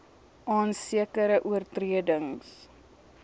aan sekere oortredings